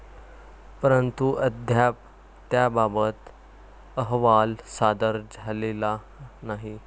परंतु, अद्याप त्याबाबत अहवाल सादर झालेला नाही.